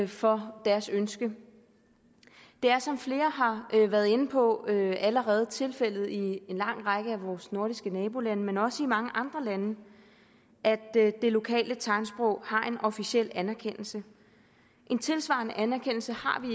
for deres ønske det er som flere har været inde på allerede tilfældet ikke bare i en lang række af vores nordiske nabolande men også i mange andre lande at det lokale tegnsprog har en officiel anerkendelse en tilsvarende anerkendelse har vi